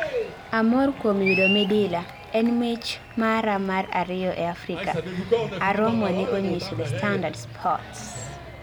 Amor kuom yudo midila, en mich mara mar ariyo ee Afrika, Aromo ne onyiso The Standard Sports